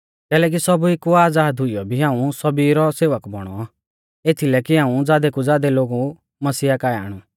कैलैकि सौभी कु आज़ाद हुइयौ भी हाऊं सौभी रौ सेवक बौणौ एथीलै कि हाऊं ज़ादै कु ज़ादै लोगु मसीह काऐ आणु